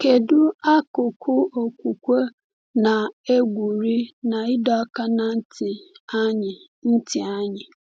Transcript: Kedu akụkụ okwukwe na-egwuri na ịdọ aka ná ntị anyị? ntị anyị?